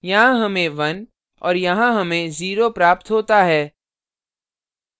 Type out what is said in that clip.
यहाँ हमें 1 और यहाँ हमें 0 प्राप्त होता है